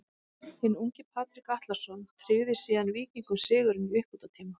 Hinn ungi Patrik Atlason tryggði síðan Víkingum sigurinn í uppbótartíma.